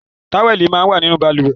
Táwẹ̀lì máa ń wà nínú balùwẹ́